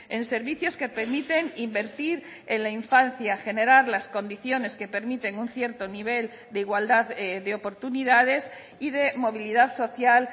en servicios que permiten invertir en la infancia generar las condiciones que permiten un cierto nivel de igualdad de oportunidades y de movilidad social